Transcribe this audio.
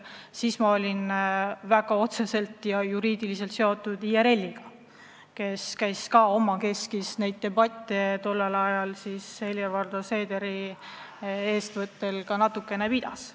Siis ma olin väga otseselt, ka juriidiliselt seotud IRL-iga, kes omakeskis neid debatte tollel ajal Helir-Valdor Seederi eestvõttel natukene pidas.